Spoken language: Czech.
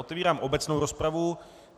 Otvírám obecnou rozpravu.